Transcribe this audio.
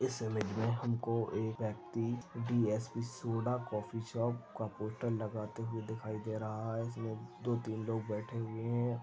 इस इमेज मे हमको एक व्यक्ति डी_एस_पी सोडा कॉफी शॉप का पोस्टर लगाते हुए दिखाई दे रहा है उसमे दो तीन लोग बैठे हुए--